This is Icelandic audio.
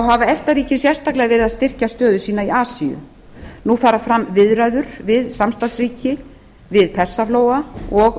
hafa efta ríkin sérstaklega verið að styrkja stöðu sína í asíu nú fara fram viðræður við samstarfsráð ríkja við persaflóa og